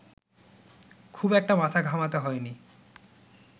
খুব একটা মাথা ঘামাতে হয়নি